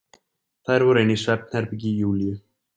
Þær voru inni í svefnherbergi Júlíu.